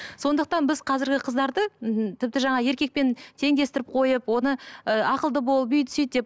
сондықтан біз қазіргі қыздарды тіпті жаңа еркекпен теңдестіріп қойып оны ы ақылды бол бүйт сөйт деп